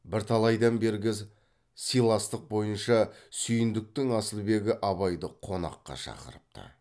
бірталайдан бергі сыйластық бойынша сүйіндіктің асылбегі абайды қонаққа шақырыпты